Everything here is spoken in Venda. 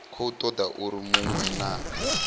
khou toda uri munwe na